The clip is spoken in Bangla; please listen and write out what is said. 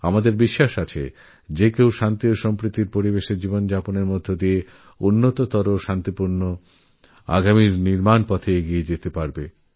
আমাদের বিশ্বাসপ্রত্যেকে শান্তি ও সদ্ভাবপূর্ণ জীবন যাপন করুক এবং এক উন্নততর ও শান্তিপূর্ণভবিষ্যৎ নির্মাণের লক্ষ্যে এগিয়ে চলুক